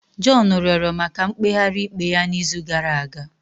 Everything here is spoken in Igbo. John rịọrọ maka mkpegharị ikpe ya n'izu gara aga.